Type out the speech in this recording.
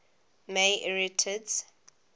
may arietids